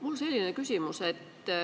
Mul on selline küsimus.